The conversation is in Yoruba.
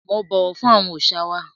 Mo bọwọ fun awọn aṣa wa.